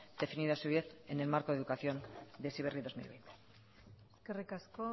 definido a su vez en el marco de educación de heziberri dos mil quince eskerrik asko